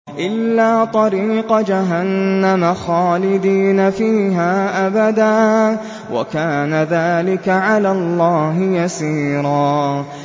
إِلَّا طَرِيقَ جَهَنَّمَ خَالِدِينَ فِيهَا أَبَدًا ۚ وَكَانَ ذَٰلِكَ عَلَى اللَّهِ يَسِيرًا